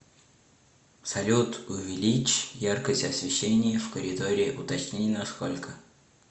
салют увеличь яркость освещения в коридоре уточни на сколько